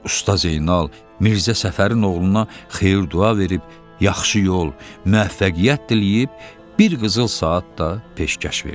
Usta Zeynal Mirzə Səfərin oğluna xeyir-dua verib, yaxşı yol, müvəffəqiyyət diləyib, bir qızıl saat da peşkəş verdi.